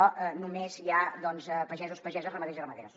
només hi ha doncs pagesos pageses ramaders i ramaderes